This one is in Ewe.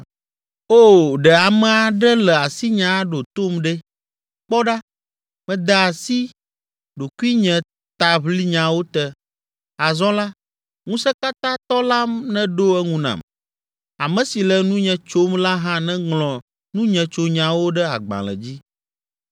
“O, ɖe ame aɖe le asinye aɖo tom ɖe! Kpɔ ɖa mede asi ɖokuinyetaʋlinyawo te, azɔ la, Ŋusẽkatãtɔ la neɖo eŋu nam, ame si le nunye tsom la hã neŋlɔ nunyetsonyawo ɖe agbalẽ dzi.